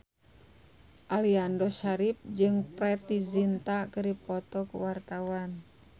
Aliando Syarif jeung Preity Zinta keur dipoto ku wartawan